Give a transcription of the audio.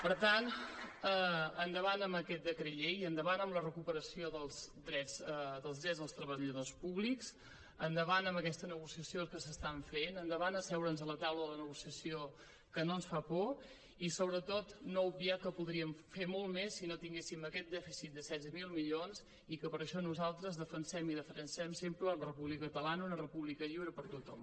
per tant endavant amb aquest decret llei endavant amb la recuperació dels drets dels treballadors públics endavant amb aquesta negociació que s’està fent endavant a asseure’ns a la taula de la negociació que no ens fa por i sobretot no obviar que podríem fer molt més si no tinguéssim aquest dèficit de setze mil milions i que per això nosaltres defensem i defensarem sempre la república catalana una república lliure per a tothom